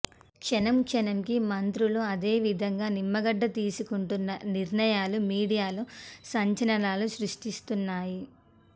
క్షణం క్షణం కి మంత్రులు అదేవిధంగా నిమ్మగడ్డ తీసుకుంటున్న నిర్ణయాలు మీడియాలో సంచలనాలు సృష్టిస్తున్నాయి